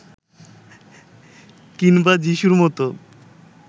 কিংবা যিশুর মতো